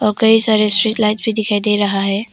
कई सारे street light भी दिखाई दे रहा है।